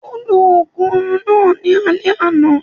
Ó lo ògùn orun náà ní alẹ́